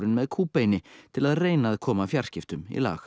með kúbeini til að reyna að koma fjarskiptum í lag